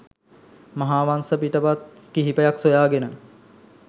මහාවංස පිටපත් කිහිපයක් සොයාගෙන